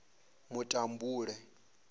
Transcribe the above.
mutambule